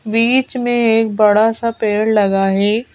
बीच में एक बड़ा सा पेड़ लगा है।